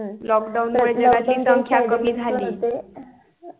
lockdown मुळे जनसंख्या कमी झाली